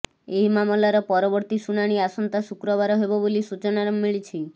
ଏହି ମାମଲାର ପରବର୍ତ୍ତୀ ଶୁଣାଣି ଆସନ୍ତା ଶୁକ୍ରବାର ହେବ ବୋଲି ସୂଚନା ମିଳିଛି